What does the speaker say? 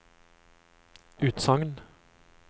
utsagn